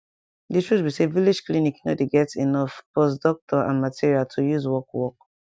di truth be say village clinic nor dey get enough pause doctor and material to use work work